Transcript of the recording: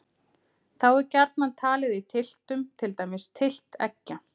Þá er gjarnan talið í tylftum, til dæmis tylft eggja.